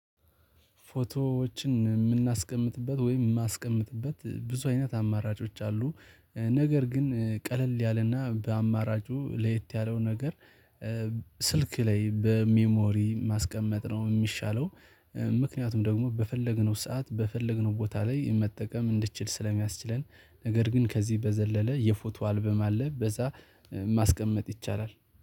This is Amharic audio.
ፎቶዎችን የምናስቀምጥበት ወይም የማስቀምጥበት ብዙ አይነት አማራጮች አሉ ነገር ግን ቀለል ያለና በአማራጩ ለየት ያለው ነገር ስልክ ላይ በሚሞሪ ማስቀመጥ ነው የሚሻለው ምክንያቱም ደግሞ በፈለግነው ሰዓት በፈለግነው ቦታ ላይ መጠቀም እንድትችል ስለሚያስችለን ነገር ግን ከዚህ በዘለለ የፎቶ አልበም አለ በዛ ማስቀመጥ ይቻላል።